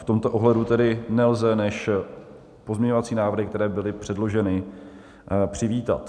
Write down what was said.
V tomto ohledu tedy nelze než pozměňovací návrhy, které byly předloženy, přivítat.